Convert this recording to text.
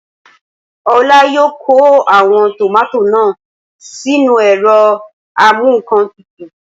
Olá yóò kó àwọn tòmátò náà sínú ẹ̀rọ amúǹkantutù